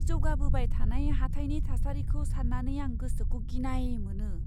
जौगाबोबाय थानाय हाथाइनि थासारिखौ साननानै आं गोसोखौ गिनाय मोनो।